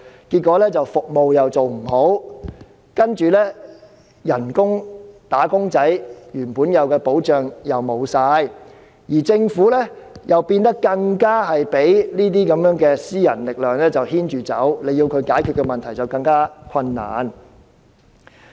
結果，服務做不好，又令"打工仔"失去原有的保障，而政府更被這些私人力量牽着走，要解決問題便更加困難。